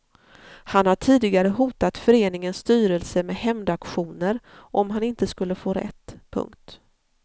Han har tidigare hotat föreningens styrelse med hämndaktioner om han inte skulle få rätt. punkt